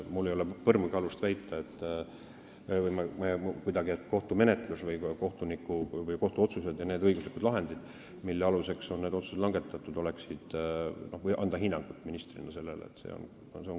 Mul ei ole põrmugi alust anda ministrina hinnangut kohtumenetlusele, kohtuotsustele ja nendele õiguslikele lahenditele.